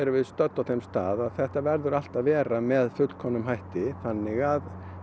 við stödd á þeim stað að þetta verður allt að vera með fullkomnum hætti þannig að